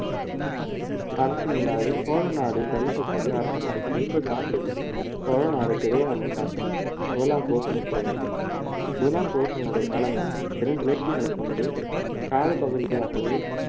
அரசனில்லாது சோழநாடு தவித்த போதே அரசனாகி ஐம்பது ஆண்டுகள் சோழநாடு சிதையாமல் காத்தவன் முதலாம் குலோத்துங்க சோழன் முதலாம் குலோத்துங்கனுடைய காலமும் பெரும் கிளர்ச்சிகளை கொண்டு கால பகுதியாகவே